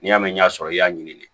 N'i y'a mɛn sɔrɔ i y'a ɲini